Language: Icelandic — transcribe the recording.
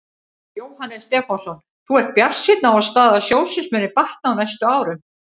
Jóhannes Stefánsson: Þú ert bjartsýnn á að staða sjóðsins muni batna á næstu árum?